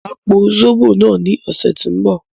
Máa po zóbò náà ní ọ̀sẹ̀ tí ń bọ̀